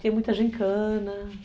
Tinha muita gincana.